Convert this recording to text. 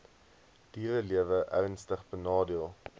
dierelewe ernstig benadeel